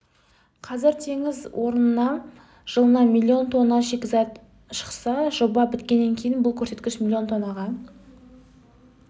қазір теңіз кен орнынан жылына миллион тонна шикізат шықса жоба біткеннен кейін бұл көрсеткіш миллион тоннаға